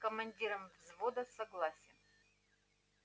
командиром взвода согласен